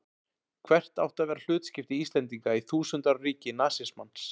Hvert átti að vera hlutskipti Íslendinga í þúsund ára ríki nasismans?